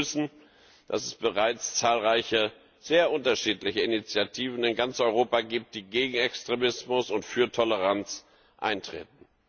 Wir begrüßen, dass es bereits zahlreiche, sehr unterschiedliche Initiativen in ganz Europa gibt, die gegen Extremismus und für Toleranz eintreten.